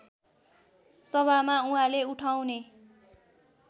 सभामा उहाँले उठाउने